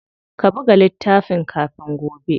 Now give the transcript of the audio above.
Ka buga littafin kafin gobe.